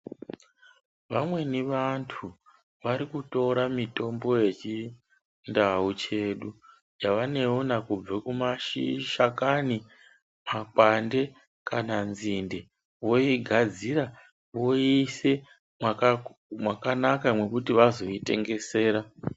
Vamweni vantu varikutora mitombo yechindau chedu yavanewana kubve kumashi ,mashakani, makwande kana nzinde voigadzira voise mwaka mwakanaka mwekuti vazoitengesera.